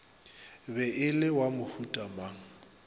be e le wa mohutamang